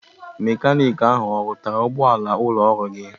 Mekanik ahụ ọ rụtara ụgbọala ụlọọrụ anyị?